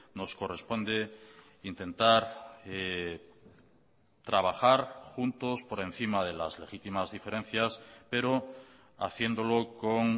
nos corresponde intentar trabajar juntos por encima de las legítimas diferencias pero haciéndolo con